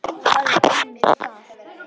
Það er einmitt það.